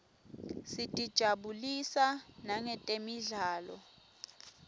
sitijabulisa nangetemidlalo